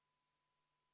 V a h e a e g